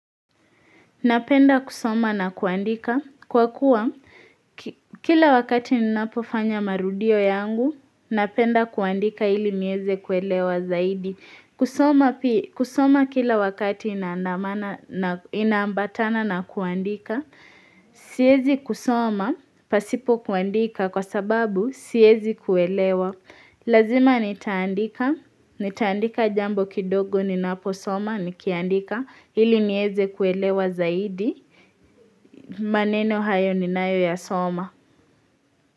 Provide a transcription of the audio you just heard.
Napenda kusoma na kuandika, kwa kuwa kila wakati ninapofanya marudio yangu, napenda kuandika ili nieze kuelewa zaidi. Kusoma kila wakati inaambatana na kuandika, siezi kusoma, pasipo kuandika kwa sababu siezi kuelewa. Lazima nitaandika, nitaandika jambo kidogo ninaposoma, nikiandika ili nieze kuelewa zaidi, maneno hayo ninayo yasoma.